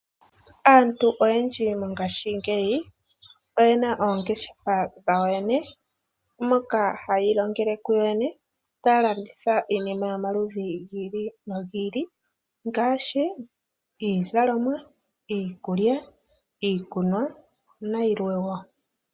Aantu oyendji mongaashingeyi oyena oongeshefa dhawo yene moka haya ilongele ku yo yene taya landitha iinima yomaludhi gi ili nogi ili ngaashi iizalomwa, iikulya, iikunwa nayilwe wo.